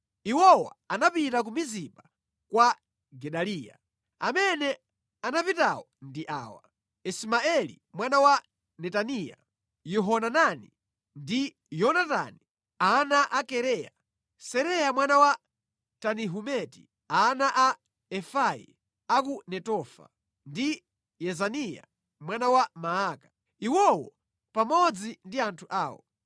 Iwowa anapita ku Mizipa kwa Gedaliya. Amene anapitawo ndi awa: Ismaeli mwana wa Netaniya, Yohanani ndi Yonatani ana a Kareya, Seraya mwana wa Tanihumeti, ana a Efai a ku Netofa, ndi Yezaniya mwana wa Maaka, iwowo pamodzi ndi anthu awo.